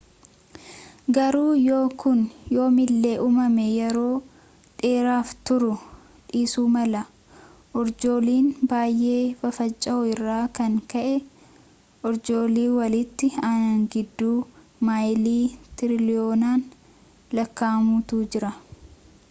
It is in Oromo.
garuu yoo kun yoomillee uumame yeroo dheeraaf turuu dhiisuu mala urjooliin baay'ee fafaca'uu irraan kan ka'e urjoolii walitti aanan gidduu maayilii tiriliyoonaan lakkaa'amutu jira